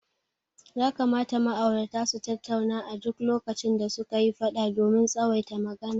Ya kamata ma'aurata su tattauna a duk lokacin da suka yi fada domin tsawaita magana.